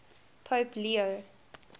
pope leo